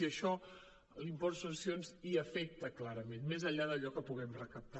i això l’impost de successions hi afecta clarament més enllà d’allò que puguem recaptar